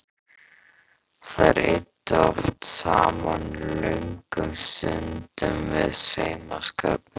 Þær eyddu oft saman löngum stundum við saumaskapinn.